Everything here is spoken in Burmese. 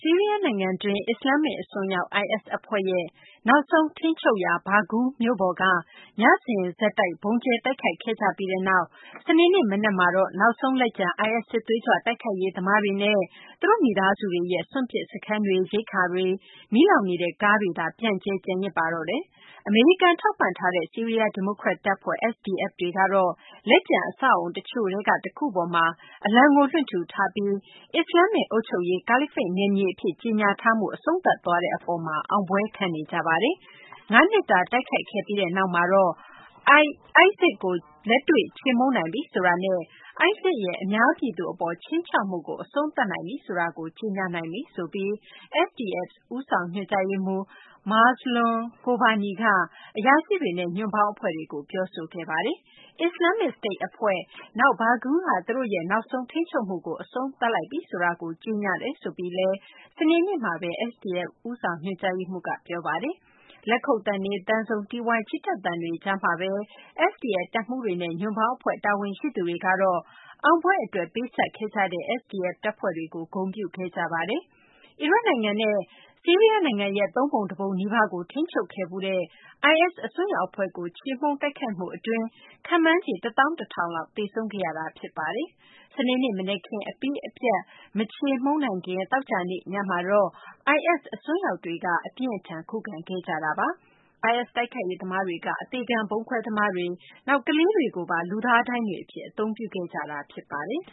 ီးရီးယားနိုင်ငံတွင်း အစ္စလာမ္မစ် အစွန်းရောက် IS အဖွဲ့ရဲ့ နောက်ဆုံး ထိန်းချုပ်ရာ Baghuz မြို့ပေါ်မှာ ညစဉ်ဆက်တိုက် ဗုံးကျဲ တိုက်ခိုက်ခဲ့ကြပြီးနောက် စနေနေ့ မနက်မှာတော့ နောက်ဆုံး လက်ကျန် IS စစ်သွေးကြွ တိုက်ခိုက်ရေး သမားတွေနဲ့ သူတို့ မိသားစုတွေရဲ့ စွန့်ပစ်စခန်းတွေနဲ့ ရိက္ခာတွေ မီးလောင်နေတဲ့ ကားတွေသာ ပြန့်ကျဲ ကျန်ရစ်ပါတော့တယ်။ အမေရိကန် ထောက်ပံ့ထားတဲ့ ဆီးရီးယား ဒီမိုကရက်တပ်ဖွဲ့ SDF တွေကတော့ လက်ကျန် အဆောက်အအုံ တချို့ထဲက တခုပေါ်မှာတော့ သူတို့ အလံကို လွှင့်ထူထားပြီး အစ္စလာမ္မစ် အုပ်ချုပ်ရေး ကာလီဖိတ် နယ်မြေအဖြစ် ကြေညာထားမှု အဆုံးသတ်သွားတဲ့ အပေါ်မှာ အောင်ပွဲခံနေကြပါတယ်။ ၅ နှစ်တာ တိုက်ခိုက်ခဲ့ပြီးနောက်မှာတော့ ISIS ကို လက်တွေ့ ချေမှုန်းနိုင်ပြီဆိုတာနဲ့ ISIS ရဲ့ အများပြည်သူအပေါ် ခြိမ်းခြောက်မှုကို အဆုံးသတ်နိုင်ပြီဆိုတာကို ကြေညာနိုင်ပြီလို့ SDF ဦးဆောင် ညွှန်ကြားရေးမှူး Mazloum Kobani က အရာရှိတွေနဲ့ ညွန့်ပေါင်း အဖွဲ့တွေကို ပြောဆိုခဲ့ပါတယ်။ Islamic State အဖွဲ့၊ နောက် Baghuz က သူတို့ရဲ့ နောက်ဆုံး ထိန်းချုပ်မှုကိုလည်း အဆုံးသတ်လိုက်ပြီဆိုတာကို ကြေညာပါတယ်လို့ စနေနေ့မှာ SDF ဦးဆောင် ညွှန်ကြားရေးမှူးက ပြောဆိုခဲ့တာပါ။ လက်ခုပ်သံတွေ၊ သံစုံတီးဝိုင်း ချီတက်သံတွေကြားမှာဘဲ SDF တပ်မှူးတွေနဲ့ ညွန့်ပေါင်းအဖွဲ့ တာဝန်ရှိသူတွေကတော့ အောင်ပွဲအတွက် ပေးဆပ်ခဲ့ကြတဲ့ SDF တပ်ဖွဲ့တွေကို ဂုဏ်ပြုခဲ့ကြပါတယ်။ အီရတ်နိုင်ငံနဲ့ ဆီးရီးယား နိုင်ငံရဲ့ သုံးပုံတပုံနီးပါးကို ထိန်းချုပ်ခဲ့ဖူးတဲ့ IS အစွန်းရောက် အဖွဲ့ကို ချေမှုန်းတိုက်ခိုက်မှု အတွင်း ခန့်မှန်းခြေ ၁၁၀၀၀ လောက် သေဆုံးခဲ့ရပါတယ်။ စနေနေ့ မနက်ခင်း အပြီးအပြတ် မချေမှုန်းနိုင်ခင် သောကြာနေ့ညမှာတော့ IS အစွန်းရောက်တွေက အပြင်းအထန် ခုခံခဲ့ကြတာပါ။ IS တိုက်ခိုက်ရေး သမားတွေက အသေခံ ဗုံးခွဲသမားတွေ၊ နောက် ကလေးတွေကိုပါ လူသား ဒိုင်းတွေ အဖြစ် အသုံးပြုခဲ့ကြတာ ဖြစ်ပါတယ်